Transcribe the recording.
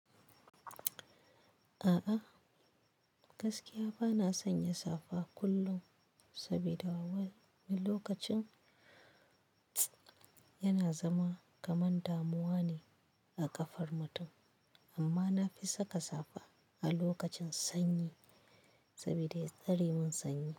A'a, gaskiya ba na son yin safa kullum sabida wani lokacin yana zama kamar damuwa ne a ƙafar mutum, amma na fi saka safa a lokacin sanyi saboda ya tsare mun sanyi.